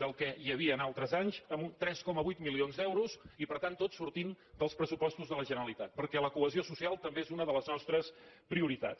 del que hi havia al·tres anys amb tres coma vuit milions d’euros i per tant tot sortint dels pressupostos de la generalitat perquè la cohesió social també és una de les nostres prioritats